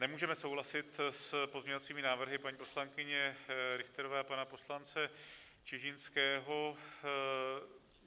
Nemůžeme souhlasit s pozměňovacími návrhy paní poslankyně Richterové a pana poslance Čižinského.